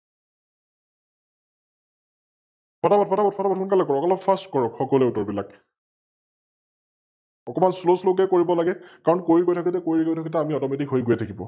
ফটা ফট, ফটা ফট, ফটা ফট সোনকালে কৰক অলপ Fast কৰক সকলোৱে উত্তৰ বিলাক? অকমান SlowSlow কৈ কৰিব লাগে, কাৰন কৰি গৈ থাকোতে, কৰি গৈ থাকোতে আমি Automatic হৈ গৈ থাকিব ।